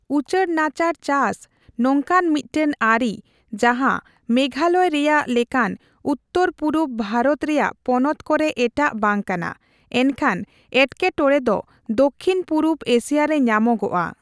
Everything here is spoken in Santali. ᱩᱪᱟᱹᱲᱱᱟᱪᱟᱲ ᱪᱟᱥ ᱱᱚᱝᱠᱟᱱ ᱢᱤᱫᱴᱟᱝ ᱟᱹᱨᱤ ᱡᱟᱦᱟᱸ ᱢᱮᱜᱷᱟᱞᱚᱭ ᱨᱮᱭᱟᱜ ᱞᱮᱠᱟᱱ ᱩᱛᱛᱚᱨᱼᱯᱩᱨᱩᱵ ᱵᱷᱟᱨᱚᱛ ᱨᱮᱭᱟᱜ ᱯᱚᱱᱚᱛ ᱠᱚᱨᱮ ᱮᱴᱟᱜ ᱵᱟᱝᱠᱟᱱᱟ, ᱮᱱᱠᱷᱟᱱ ᱮᱴᱠᱮᱴᱚᱬᱮ ᱫᱚ ᱫᱚᱠᱷᱤᱱᱼᱯᱩᱨᱩᱵ ᱮᱥᱤᱭᱟ ᱨᱮ ᱧᱟᱢᱚᱜᱼᱟ ᱾